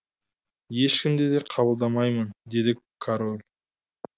ешкімді де қабылдамаймын деді король